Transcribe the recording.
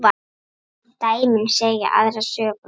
Dæmin segja aðra sögu.